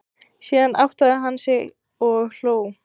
Síðan áttaði hann sig og hló.